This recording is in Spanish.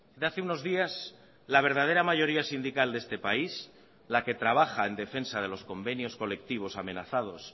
de hace unos días la verdadera mayoría sindical de este país la que trabaja en defensa de los convenios colectivos amenazados